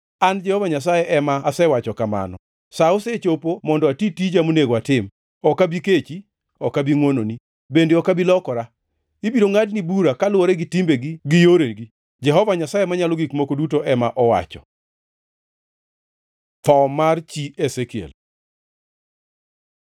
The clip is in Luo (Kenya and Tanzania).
“ ‘An Jehova Nyasaye ema asewacho kamano. Sa osechopo mondo ati tija monego atim. Ok abi kechi; ok abi ngʼwononi, bende ok abi lokora. Ibiro ngʼadni bura kaluwore gi timbeni gi yoreni, Jehova Nyasaye Manyalo Gik Moko Duto ema owacho.’ ” Tho mar chi Ezekiel